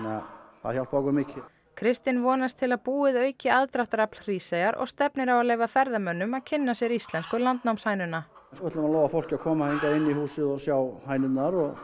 að það hjálpaði okkur mjög kristinn vonast til að búið auki aðdráttarafl Hríseyjar og stefnir á að leyfa ferðamönnum að kynna sér íslensku landnámshænuna við ætlum að lofa fólki að koma hingað inn í húsið og sjá hænurnar og